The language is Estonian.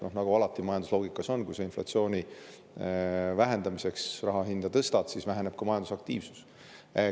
Majandusloogika on alati selline, et kui sa inflatsiooni vähendamiseks raha hinda tõstad, siis väheneb ka majandusaktiivsus.